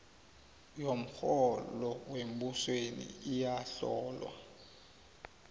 yomrholo wembusweni iyahlolwa